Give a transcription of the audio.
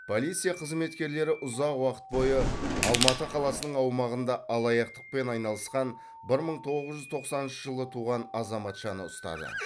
полиция қызметкерлері ұзақ уақыт бойы алматы қаласының аумағында алаяқтықпен айналысқан бір мың тоғыз жүз тоқсаныншы жылы туған азаматшаны ұстады